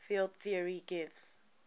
field theory gives